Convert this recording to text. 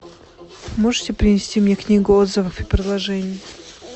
можете принести мне книгу отзывов и предложений